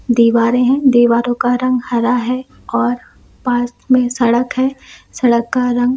दीवारे है दीवारों का रंग हरा है और पास में सड़क है सड़क का रंग--